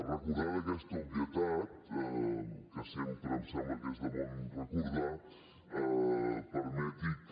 recordada aquesta obvietat que sempre em sembla que és de bon recordar permeti que